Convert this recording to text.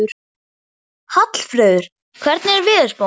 Hallfreður, hvernig er veðurspáin?